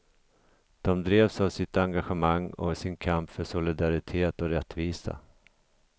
De drevs av sitt engagemang och sin kamp för solidaritet och rättvisa.